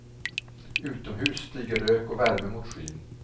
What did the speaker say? Utomhus stiger rök och värme mot skyn.